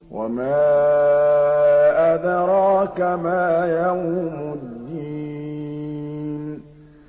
وَمَا أَدْرَاكَ مَا يَوْمُ الدِّينِ